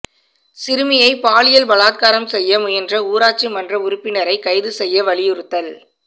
சிறுமியை பாலியல் பலாத்காரம் செய்ய முயன்ற ஊராட்சி மன்ற உறுப்பினரை கைது செய்ய வலியுறுத்தல்